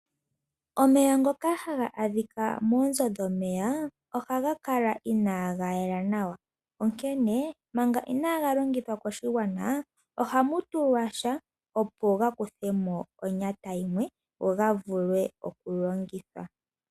Omeya ngoka haga adhika moonzo dhomeya ohaga kala inaga yela nawa onkene manga inaga longithwa koshigwana. Ohamu tulwa sha opo ga kuthemo onyata yimwe go ga vule oku longithwa.